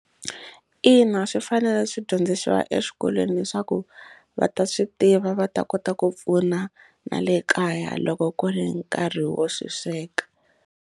Ina swi fanele swi dyondzisiwa eswikolweni leswaku va ta swi tiva va ta kota ku pfuna na le kaya loko ku ri nkarhi wo swi sweka.